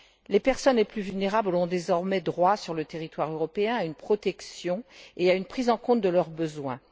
Les personnes les plus vulnérables ont désormais droit, sur le territoire européen, à une protection et à une prise en compte de leurs besoins.